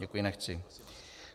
Děkuji, nechci.